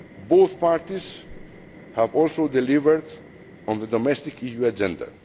underway. Both parties have also delivered on the domestic EU